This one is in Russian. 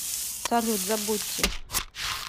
салют забудьте